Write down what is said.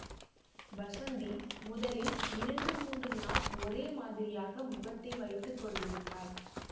வஸந்தி முதலில் இரண்டு மூன்று நாள் ஒரு மாதிரியாக முகத்தை வைத்து கொண்டிருந்தாள்